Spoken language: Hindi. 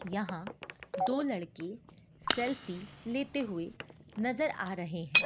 यहां दो लड़के सेल्फी लेते हुए नजर आ रहे हैं।